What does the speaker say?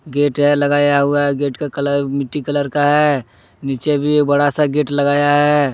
Gate है लगाया हुआ गेट का कलर मिट्टी कलर का है नीचे भी बड़ा सा गेट लगाया है।